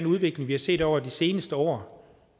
udvikling vi har set over de seneste år